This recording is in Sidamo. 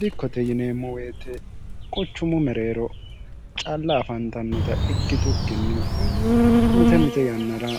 dikkote yineemmo woyite qochummu mereero calla afantannota ikki tukkinni mite mite yannara